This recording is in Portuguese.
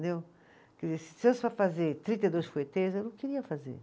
Se fazer trinta e dois, eu não queria fazer.